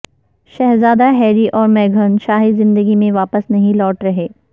شہزادہ ہیری اور میگھن شاہی زندگی میں واپس نہیں لوٹ رہے